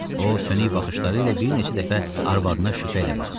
O sönük baxışları ilə bir neçə dəfə arvadına şübhə ilə baxdı.